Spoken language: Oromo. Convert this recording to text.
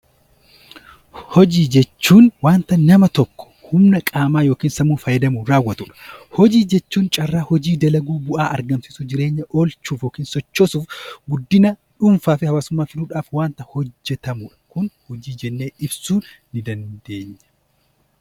Hojii jechuun wanta nama tokko humna qaamaa yookiin sammuu fayyadamuun raawwatu dha. Hojii jechuun carraa hojii dalaguu, bu'aa argamsiisuu, jireenya oolchuuf yookiin sochoosuuf guddina dhuunfaa fi hawaasummaa fiduudhaaf wanta hojjetamu dha. Kun hojii jennee ibsuu ni dandeenya.